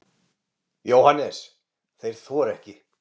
JÓHANNES: Þeir þora ekki.